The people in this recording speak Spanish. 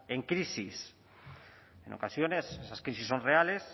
en crisis en ocasiones esas crisis son reales